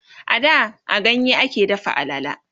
a da a ganye a ke dafa alala